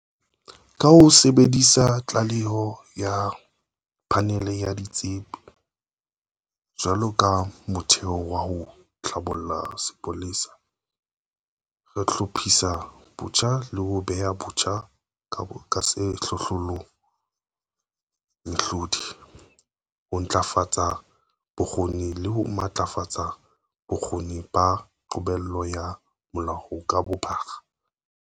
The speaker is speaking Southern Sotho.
Ka ho sebedisa tlaleho ya Phanele ya Ditsebi jwalo ka motheo wa ho hlabolla sepolesa, re hlophisa botjha le ho beha botjha ka sehlohlolong mehlodi, ho ntlafatsa bokgoni le ho matlafatsa bokgoni ba qobello ya molao ka bophara.